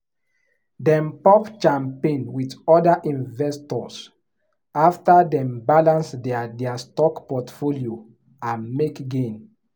dem pop champagne with other investors after dem balance their their stock portfolio and make gain.